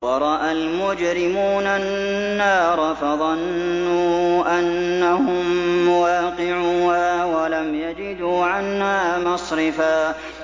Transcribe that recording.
وَرَأَى الْمُجْرِمُونَ النَّارَ فَظَنُّوا أَنَّهُم مُّوَاقِعُوهَا وَلَمْ يَجِدُوا عَنْهَا مَصْرِفًا